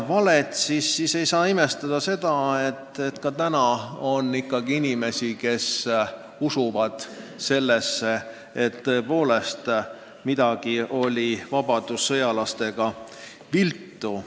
Nii ei maksa imestada, et ka tänapäeval on inimesi, kes usuvad, et tõepoolest midagi oli vabadussõjalastega viltu.